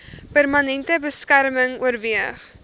permanente beskerming oorweeg